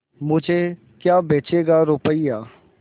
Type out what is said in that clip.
मुझे क्या बेचेगा रुपय्या